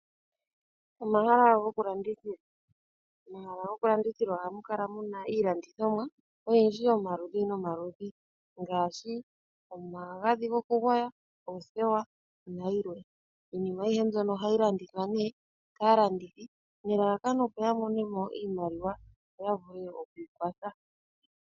Omahala goku landithila Omahala goku landithila ohamu kala muna iilandithomwa oyindji yomaludhi nomaludhi ngaashi omagadhi gokugwaya, oothewa nayilwe. Iinima ayihe mbyono ohayi landithwa nee kaalandithi nelalakano opo ya monemo iimaliwa yo ya vule okwiikwatha.